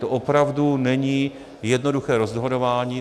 To opravdu není jednoduché rozhodování.